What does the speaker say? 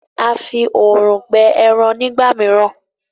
A fí òòrùn gbẹ èràn nígbàmìíràn.